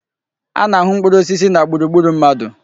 A na-ahụ mkpụrụ osisi na gburugburu mmadụ.